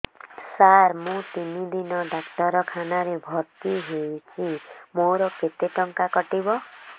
ସାର ମୁ ତିନି ଦିନ ଡାକ୍ତରଖାନା ରେ ଭର୍ତି ହେଇଛି ମୋର କେତେ ଟଙ୍କା କଟିବ